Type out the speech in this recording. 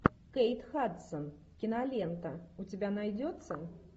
кейт хадсон кинолента у тебя найдется